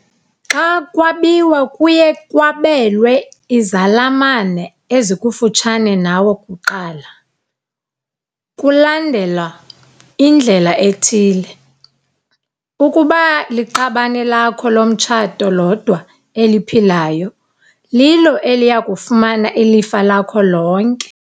Xa kwabiwa kuye kwabelwe izalamane ezikufutshane nawe kuqala, kulandelwa indlela ethile- Ukuba liqabane lakho lomtshato lodwa eliphilayo, lilo eliya kufumana ilifa lakho lonke.